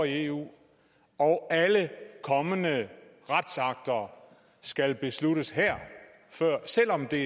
eu og alle kommende retsakter skal besluttes her selv om der